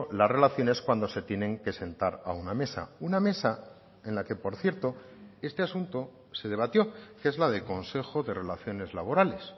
las relaciones cuando se tienen que sentar a una mesa una mesa en la que por cierto este asunto se debatió que es la de consejo de relaciones laborales